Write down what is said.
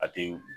A tɛ